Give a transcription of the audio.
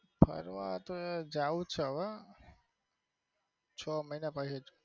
ફરવા તો જાવ છે હવે છ મહિના પછી જ.